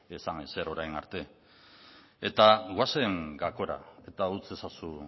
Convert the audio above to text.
esan ezer orain arte eta goazen gakora eta utz ezazu